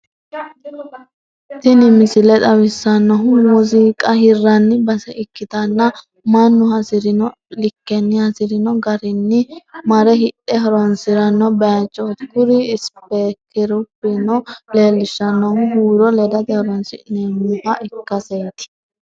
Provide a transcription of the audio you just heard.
Tini misile xawissannohu muuziqa hirranni base ikkitanna, mannu hasi'rino likkenni hasi'rino garinni mare hidhe horonsi'ranno bayichooti, kuri isipeekerubbano leellishshannohu huuro ledate horonsi'neemmoha ikkaseeti.